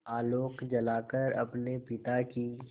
आलोक जलाकर अपने पिता की